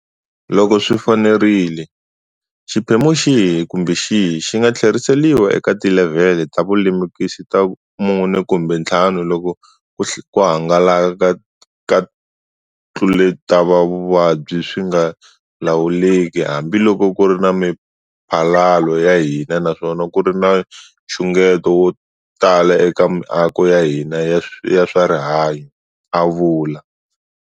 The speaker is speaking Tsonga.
Loko swi fanerile, xiphemu xihi kumbe xihi xi nga tlheriseriwa eka tilevhele ta vulemukisi ta 4 kumbe 5 loko ku hangalaka ka ntluletavuvabyi swi nga lawuleki hambiloko ku ri na miphalalo ya hina naswona ku ri na nxungeto wo tala eka miako ya hina ya swa rihanyu, a vula.